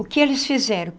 O que eles fizeram?